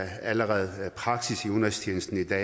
er allerede praksis i udenrigstjenesten i dag